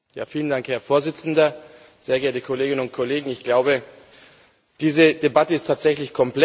Herr Präsident, sehr geehrte Kolleginnen und Kollegen! Ich glaube, diese Debatte ist tatsächlich komplex.